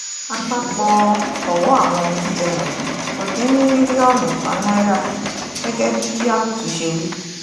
àpapọ̀ ọ̀wọ́ àwọn ohun jíjẹ wọ̀nyí kò dín ní mílíọ̀nù kan náírà gẹ́gẹ́ bí ábùtù ṣe wí